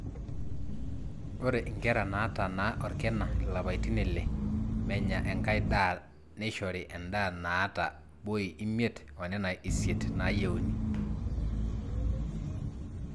ore inkera naatanaa orkina ilapaitin ile menya enkai daa neishori endaa naata boi imiet oonena isiet naayieuni